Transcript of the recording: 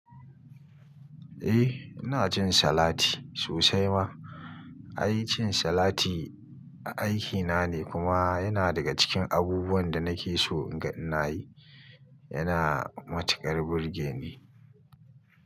Eh, ina cin salati sosai ma. Ai cin salati aikina ne kuma yana daga cikin abubuwan da nake so in ga ina yi. Yana matuƙar burge ni.